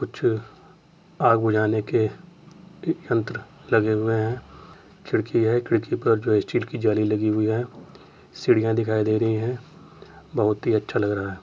कुछ आग बुझाने के यंन्त्र लगे हुए हैं | खिड़की है खिड़की पर स्टील की जाली दिख रही है सीढियाँ दिखाई दे रही हैं बहुत ही अच्छा लग रहा है।